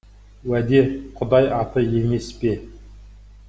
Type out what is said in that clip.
уәде құдай аты емес пе